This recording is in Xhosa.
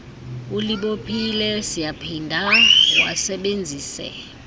ulibophile siyaphinda wasebenzise